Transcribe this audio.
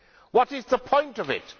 What is the point of it?